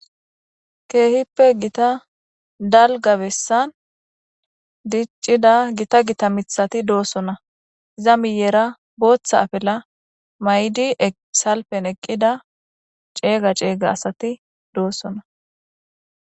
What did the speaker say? Keehippe gita dalga bessan diccida gita gita mithati doossona za miyeera booththa afela may'di salpen eqqida ceeyga ceeyga asati doossona.